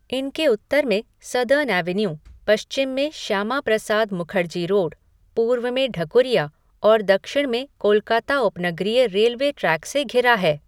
इनके उत्तर में सदर्न एवेन्यू, पश्चिम में श्यामाप्रसाद मुखर्जी रोड, पूर्व में ढकुरिया और दक्षिण में कोलकाता उपनगरीय रेलवे ट्रैक से घिरा है।